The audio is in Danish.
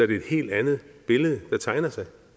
det er et helt andet billede der tegner sig